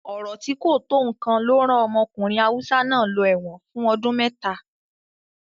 Ọ̀rọ̀ tí kò tó nǹkan ló rán ọmọkùnrin Hausa náà lọ ẹ̀wọ̀n fún ọdún mẹ́ta.